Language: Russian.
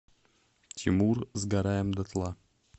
тимур сгораем дотла